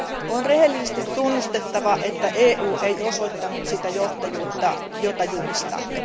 On rehellisesti tunnustettava, että EU ei osoittanut sitä johtajuutta, jota julistamme.